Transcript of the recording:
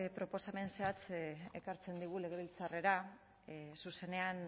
proposamen zehatz ekartzen digu legebiltzarrera zuzenean